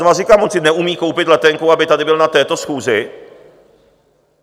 Znovu říkám, on si neumí koupit letenku, aby tady byl na této schůzi?